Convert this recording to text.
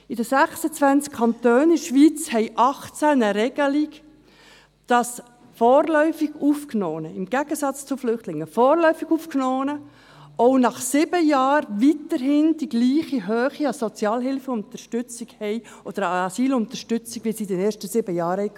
– In den 26 Kantonen der Schweiz haben 18 eine Regelung, wonach vorläufig Aufgenommene im Gegensatz zu den Flüchtlingen auch nach sieben Jahren weiterhin die gleiche Höhe an Sozialhilfeunterstützung oder an Asylunterstützung erhalten wie in den ersten sieben Jahren.